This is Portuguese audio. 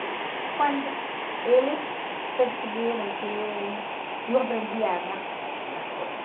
E quando eles perceberam que eu... Eu aprendia rápido umas coisas.